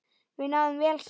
Við náðum vel saman.